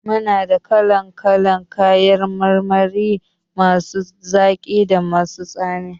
Muna da kala kalan kayan marmari masu zaki da masu tsami